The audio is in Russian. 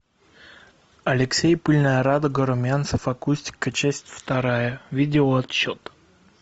алексей пыльная радуга румянцев акустика часть вторая видеоотчет